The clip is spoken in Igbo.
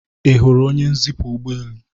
ị hụrụ onye nzipu ụgbọelu?